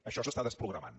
això s’està desprogramant